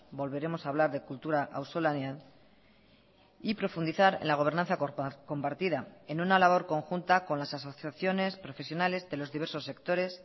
volveremos a hablar de kultura auzolanean y profundizar en la gobernanza compartida en una labor conjunta con las asociaciones profesionales de los diversos sectores